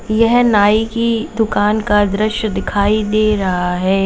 यह नाई की दुकान का दृश्य दिखाई दे रहा है।